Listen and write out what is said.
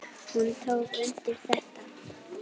Hún tók undir þetta.